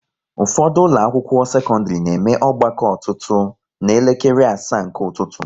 Ụfọdụ ụlọ akwụkwọ sekọndrị na eme ọgbakọ ọtụtụ ná elekere asaa nke ụtụtụ